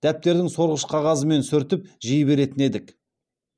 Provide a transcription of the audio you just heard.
дәптердің сорғыш қағазымен сүртіп жей беретін едік